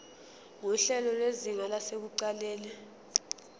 nguhlelo lwezinga lasekuqaleni